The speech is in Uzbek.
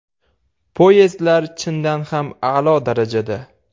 Poyezdlar chindan ham a’lo darajada.